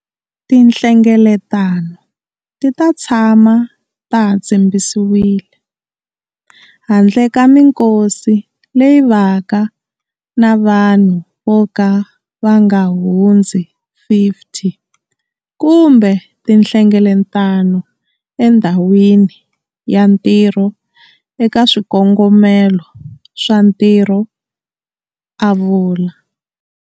Tinhlengeletano ti ta tshama ta ha tshimbisiwile, handle ka mikosi leyi vaka na vanhu vo ka va nga hundzi 50 kumbe tinhlengeletano endhawini ya ntirho eka swikongomelo swa ntirho, a vula.